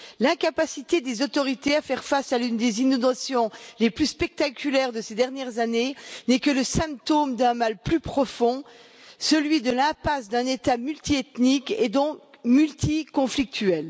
L'incapacité des autorités à faire face à l'une des inondations les plus spectaculaires de ces dernières années n'est que le symptôme d'un mal plus profond celui de l'impasse d'un État multiethnique et donc multi conflictuel.